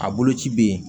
A boloci bɛ yen